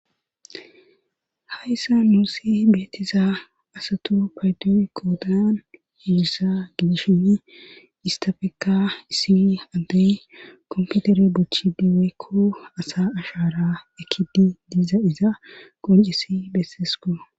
Hayssa nuussi beetiza asatu paydoyy koodan yeerissa gidishini istafeka issini addey komputere buchchidi weykko asa ashaara ekidi diiza iza qoncisi beessesko.